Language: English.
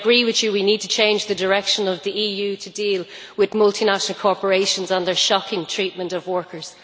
However, I agree with you we need to change the direction of the EU to deal with multinational corporations and their shocking treatment of workers.